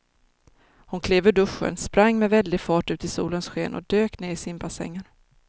Hon klev ur duschen, sprang med väldig fart ut i solens sken och dök ner i simbassängen.